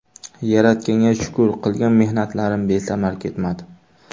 Yaratganga shukur qilgan mehnatlarim besamar ketmadi.